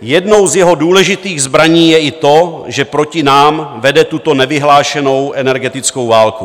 Jednou z jeho důležitých zbraní je i to, že proti nám vede tuto nevyhlášenou energetickou válku.